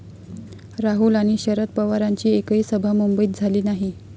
राहुल आणि शरद पवारांची एकही सभा मुंबईत झाली नाही.